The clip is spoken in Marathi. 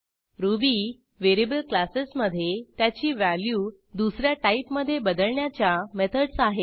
रुबी व्हेरिएबल क्लासेस मधे त्याची व्हॅल्यू दुस या टाईपमधे बदलण्याच्या मेथडस आहेत